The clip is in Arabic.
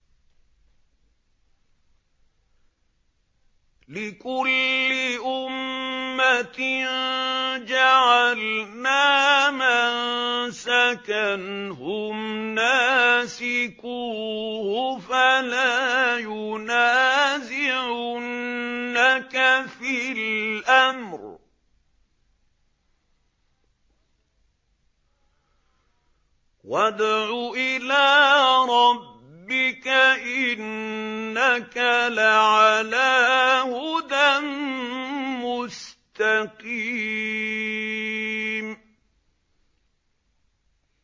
لِّكُلِّ أُمَّةٍ جَعَلْنَا مَنسَكًا هُمْ نَاسِكُوهُ ۖ فَلَا يُنَازِعُنَّكَ فِي الْأَمْرِ ۚ وَادْعُ إِلَىٰ رَبِّكَ ۖ إِنَّكَ لَعَلَىٰ هُدًى مُّسْتَقِيمٍ